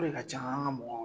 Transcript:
O de ka ca an ka mɔgɔw